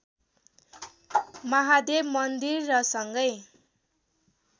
महादेव मन्दिर र सँगै